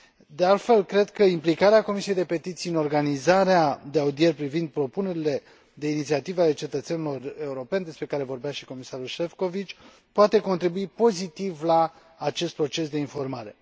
De altfel, cred că implicarea Comisiei pentru petiții în organizarea de audieri privind propunerile de inițiative ale cetățenilor europeni, despre care vorbea și comisarul Šefčovič, poate contribui pozitiv la acest proces de informare.